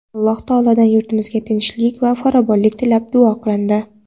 Alloh taolodan yurtimizga tinchlik va farovonlik tilab duo qilindi.